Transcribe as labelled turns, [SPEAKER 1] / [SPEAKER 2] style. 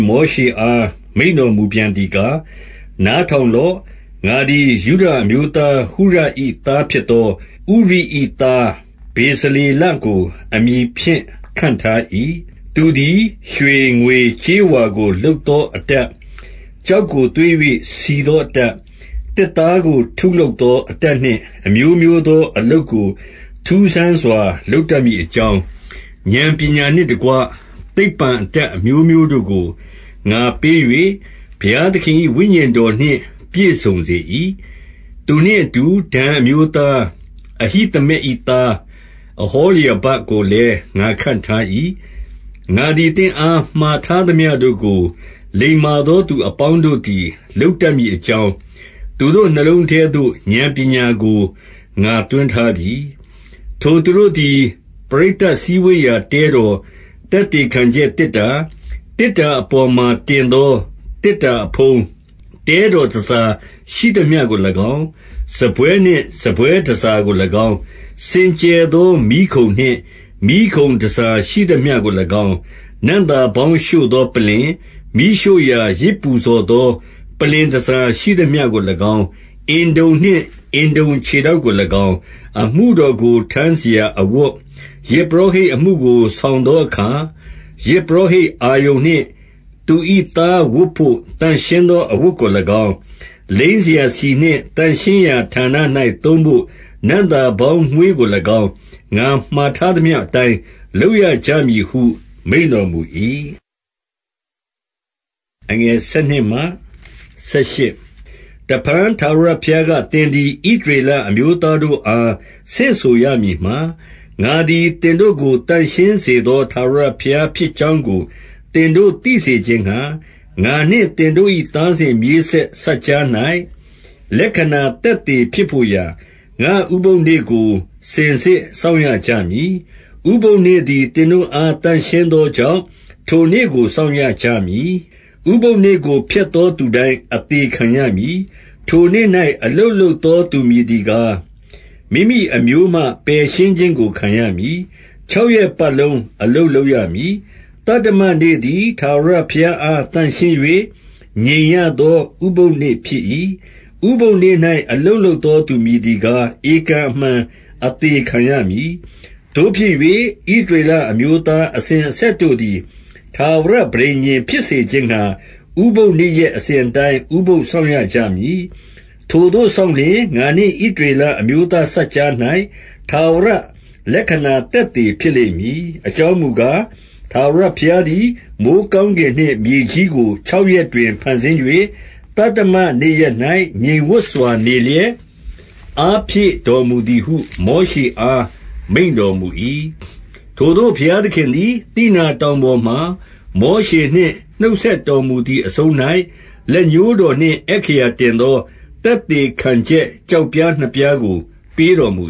[SPEAKER 1] မောရှေအား မိန့်တော်မူပြန်သည်ကား၊ နားထောင်လော့၊ ငါသည် ယုဒအမျိုးသား ဟုရ၏သားဖြစ်သော ဥရိ၏သား ဗေဇလေလကို အမည်ဖြင့် ခန့်ထား၏။ သူသည် ရွှေငွေကြေးဝါကို လုပ်သော အတတ်၊ ကျောက်ကို သွေး၍ စီသောအတတ်၊ သစ်သားကို ထုလုပ်သော အတတ်နှင့် အမျိုးမျိုးသော အလုပ်ကို ထူးဆန်းစွာ လုပ်တတ်မည်အကြောင်း၊ ဉာဏ်ပညာနှင့်တကွ သိပ္ပံအတတ်အမျိုးမျိုးတို့ကို ငါပေး၍ ဘုရားသခင်၏ ဝိညာဉ်တော်နှင့် ပြည့်စုံစေ၏။ သူနှင့်အတူ ဒန်အမျိုးသား အဟိသမက်၏သား၊ အဟောလျဘကိုလည်း ငါခန့်ထား၏။ ငါသည် သင့်အား မှာထားသမျှတို့ကို လိမ္မာသောသူအပေါင်းတို့သည် လုပ်တတ်မည်အကြောင်း၊ သူတို့နှလုံးထဲသို့ ဉာဏ်ပညာကို ငါသွင်းထားပြီ။ ထိုသူတို့သည် ပရိသတ်စည်းဝေးရာ တဲတော်၊ သက်သေခံချက်သေတ္တာ၊ သေတ္တာအပေါ်မှာ တင်သော သေတ္တာအဖုံး၊ တဲတော်တန်ဆာရှိသမျှကို၎င်း၊ စားပွဲနှင့် စားပွဲတန်ဆာကို၎င်း၊ စင်ကြယ်သော မီးခုံနှင့် မီးခုံတန်ဆာရှိသမျှကို၎င်း၊ နံ့သာပေါင်း ရှို့သော ပလ္လင်၊ မီးရှို့ရာယဇ်ပူဇော်သော ပလ္လင်တန်ဆာရှိသမျှကို၎င်း၊ အမှုတော်ကို ထမ်းစရာအဝတ်၊ ယဇ်ပုရောဟိတ်အမှုကို ဆောင်သောအခါ၊ ယဇ်ပုရောဟိတ်အာရုန် နှင့် သူ၏သားဝတ်ဘို့ သန့်ရှင်းသောအဝတ်ကို၎င်း၊ လိမ်းစရာဆီနှင့် သန့်ရှင်းရာဌာန၌ သုံးဘို့ နံ့သာပေါင်းမွှေးကို၎င်း၊ ငါမှာထားသမျှအတိုင်း လုပ်ရကြ မည်ဟု မိန့်တော်မူ၏။ တဖန်ထာဝရဘုရားက၊ သင်သည် ဣသရေလအမျိုးသားတို့အား ဆင့်ဆိုရမည်မှာ၊ ငါသည် သင်တို့ကို သန့်ရှင်းစေသော ထာဝရဘုရားဖြစ်ကြောင်းကို သင်တို့သိစေခြင်းငှါ၊ ငါနှင့်သင်တို့၏ သားစဉ်မြေးဆက် စပ်ကြား၌ လက္ခဏာသက်သေဖြစ်ဘို့ရာ၊ ငါ့ဥပုသ်နေ့ကို စင်စစ်စောင့်ရ ကြမည်။ ဥပုသ်နေ့သည် သင်တို့အား သန့်ရှင်းသောကြောင့် ထိုနေ့ကို စောင့်ရကြမည်။ ဥပုသ်နေ့ကို ဖျက်သောသူတိုင်း အသေခံရမည်။ ထိုနေ့၌ အလုပ်လုပ်သော သူမည်သည်ကား၊ မိမိအမျိုးမှ ပယ်ရှင်းခြင်းကို ခံရမည်။ ခြောက်ရက်ပတ်လုံး အလုပ်လုပ်ရမည်။ သတ္တမနေ့သည် ထာဝရဘုရားအား သန့်ရှင်း၍ ငြိမ်ရသော ဥပုသ်နေ့ဖြစ်၏။ ဥပုသ်နေ့၌ အလုပ်လုပ်သောသူမည်သည်ကား၊ ဧကန်အမှန် အသေခံရမည်။ သို့ဖြစ်၍ ဣသရေလအမျိုးသားအစဉ်အဆက်တို့သည်၊ ထာဝရပဋိညာဉ် ဖြစ်စေခြင်းငှါ၊ ဥပုသ်နေ့ရက် အစဉ်အတိုင်း ဥပုသ်စောင့်ရကြမည်။ ထိုသို့ စောင့်လျှင်၊ ငါနှင့် ဣသရေလအမျိုးသားစပ်ကြား၌ ထာဝရလက္ခဏာသက်သေဖြစ်လိမ့်မည်။ အကြောင်းမူကား၊ ထာဝရဘုရားသည် မိုဃ်းကောင်းကင်နှင့် မြေကြီးကို၊ ခြောက်ရက်တွင် ဖန်ဆင်း၍၊ သတ္တမနေ့ရက်၌ ငြိမ်ဝပ်စွာ နေလျက် အားဖြည့်တော်မူသည်ဟု မောရှေအား မိန့်တော်မူ၏။ ထိုသို့ ဘုရားသခင်သည် သိနာတောင်ပေါ်မှာ မောရှေနှင့် နှုတ်ဆက်တော်မူသည်အဆုံး၌၊ လက်ညှိုးတော်နှင့် အက္ခရာတင်သော သက်သေခံချက်၊ ကျောက်ပြားနှစ်ပြားကို ပေးတော်မူ